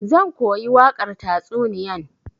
Zan koyi wakar tatsuniyan.